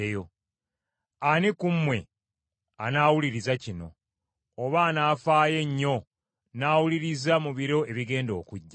Ani ku mmwe anaawuliriza kino, oba anaafaayo ennyo n’awuliriza mu biro ebigenda okujja?